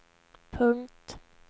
punkt